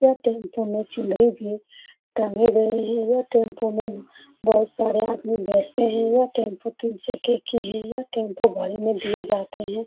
यह टेम्पो में चुनरी भी टंगे हुए हैं यह टेम्पो में बहुत सारे आदमी बैठते हैं यह टेम्पो की है यह टेम्पो भाड़े पे दिए जाते हैं।